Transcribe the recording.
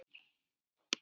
Hvaða svipur er á þér!